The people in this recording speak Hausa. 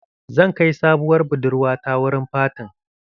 Zan kai sabowar budurwa ta wurin fatin